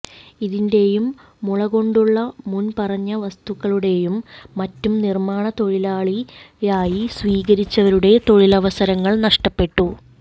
ഇതിൻറെയും മുളകൊണ്ടുള്ള മുൻപറഞ്ഞ വസ്തുക്കളുടെയും മറ്റും നിർമ്മാണം തൊഴിലായി സ്വീകരിച്ചിരുന്നവരുടെ തൊഴിലവസരങ്ങൾ നഷ്ടപ്പെട്ടു